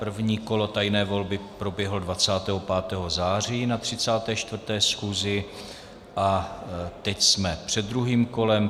První kolo tajné volby proběhlo 25. září na 34. schůzi a teď jsme před druhým kolem.